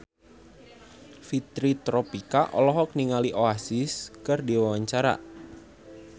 Fitri Tropika olohok ningali Oasis keur diwawancara